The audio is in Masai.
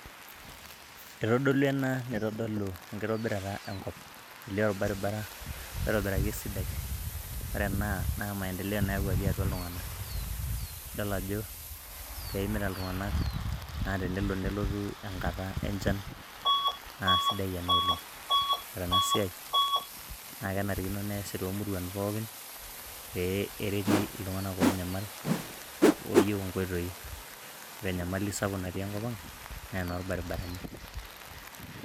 Itodolu ena nitodolu enkitobirata enkop, elio orbaribara oitobiraki esidai, ore ena naa maendeleo nayauwaki atua iltung'anak, idol ajo keimita iltunanak naa tenelo nelotu enkata enchan naa sidai ena oleng'. Ore ena siai naake enarikino neasi to muruan pookin pee ereti iltung'anak onyamal oyeu nkoitoi, ore enyamali sapuk natii enkop ang' naa inolbarbarani.